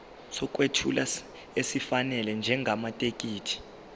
sokwethula esifanele njengamathekisthi